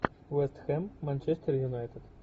вест хэм манчестер юнайтед